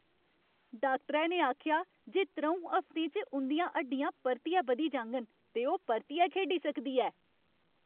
डाक्टरै ने आखेआ जे त्र'ऊं हफ्तें च उं'दियां हड्डियां परतियै बधी जाङन ते ओह् परतियै खेढी सकदी ऐ।